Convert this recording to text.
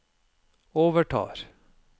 overtar